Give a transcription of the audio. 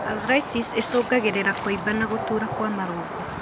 Arthritis icũngagĩrĩria kũimba na gũtura kwa marũngo.